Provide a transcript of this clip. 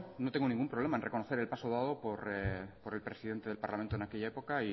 no tengo ningún problema en reconocer el paso dado por el presidente del parlamento en aquella época